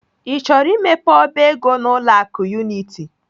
I chọrọ imepe ọba ego n'ụlọ akụ Unity?